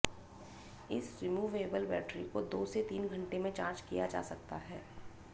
इस removable battery को दो से तीन घंटे में चार्ज किया जा सकता है